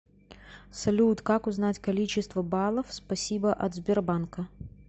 салют как узнать количество баллов спасибо от сбербанка